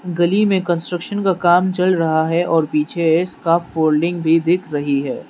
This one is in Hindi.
गली में कंस्ट्रक्शन का काम चल रहा है और पीछे इसका फोल्डिंग भी दिख रही है।